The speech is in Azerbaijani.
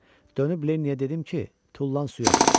Dönüb Lennyə dedim ki, tullan suya.